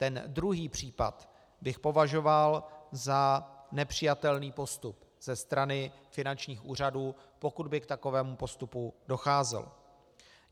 Ten druhý případ bych považoval za nepřijatelný postup ze strany finančních úřadů, pokud by k takovému postupu docházelo.